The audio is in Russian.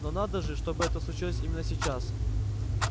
но надо же чтобы это случилось именно сейчас